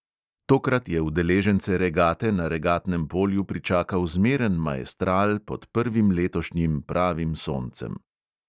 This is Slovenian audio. Tokrat je udeležence regate na regatnem polju pričakal zmeren maestral pod prvim letošnjim pravim soncem.